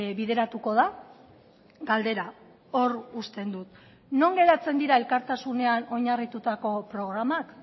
bideratuko da galdera hor uzten dut non geratzen dira elkartasunean oinarritutako programak